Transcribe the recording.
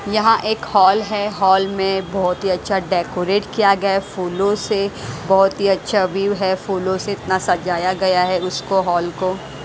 यहां एक हॉल है हॉल में बहोत ही अच्छा डेकोरेट किया गया है फूलों से बहोत ही अच्छा व्यू है फूलों से इतना सजाया गया है उसको हॉल को।